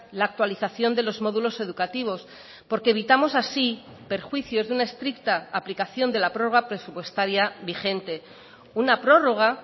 la actualización de los módulos educativos porque evitamos así perjuicios de una estricta aplicación de la prórroga presupuestaria vigente una prórroga